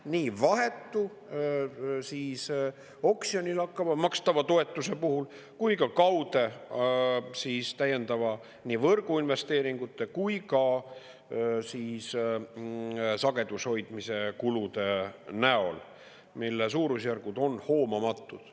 Nii vahetu oksjonil makstava toetuse puhul kui ka kaude täiendava võrguinvesteeringute ja sagedushoidmise kulude näol, mille suurusjärgud on hoomamatud.